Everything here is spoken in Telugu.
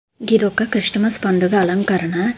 ఇదొక క్రిస్టమస్ పండుగ అలంకరణ.